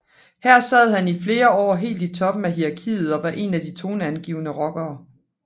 Her sad han i flere år helt i toppen af hierarkiet og var en af de toneangivende rockere